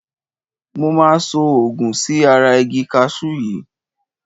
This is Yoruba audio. Mo máa so òògun sí ara igi kaṣú yìí.